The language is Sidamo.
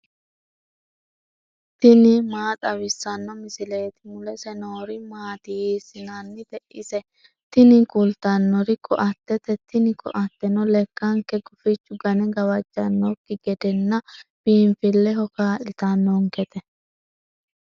tini maa xawissanno misileeti ? mulese noori maati ? hiissinannite ise ? tini kultannori ko"attete. tini ko"atteno lekkanke gufichu gane gawajjannonkekki gedenna biinfilleho kaa'litannonkete.